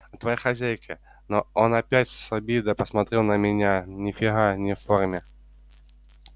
а твоя хозяйка он опять с обидой посмотрел на меня нифига не в форме